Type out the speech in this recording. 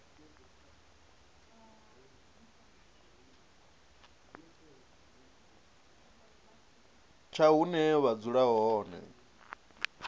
tsha hune vha dzula hone